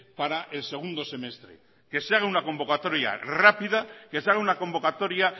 para el segundo semestre que se haga una convocatoria rápida que se haga una convocatoria